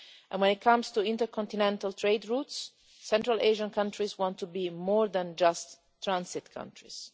When it comes to intercontinental trade routes, Central Asian countries want to be more than just transit countries.